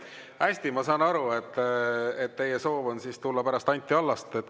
Hästi, ma saan aru, et teie soov on tulla pärast Anti Allast.